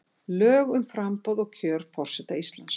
Lög um framboð og kjör forseta Íslands.